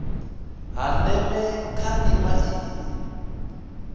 ha ndeme kha ndima iyi